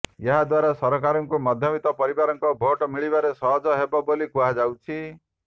ଏହା ଦ୍ବାରା ସରକାରଙ୍କୁ ମଧ୍ୟବିତ୍ତ ପରିବାରଙ୍କ ଭୋଟ୍ ମିଳିବାରେ ସହଜ ହେବ ବୋଲି କୁହାଯାଉଛି